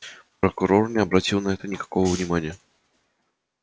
прокурор не обратил на это никакого внимания